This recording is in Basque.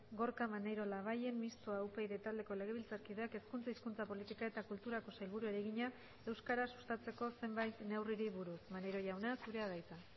gorka maneiro labayen mistoa upyd taldeko legebiltzarkideak hezkuntza hizkuntza politika eta kulturako sailburuari egina euskara sustatzeko zenbait neurriri buruz maneiro jauna zurea da hitza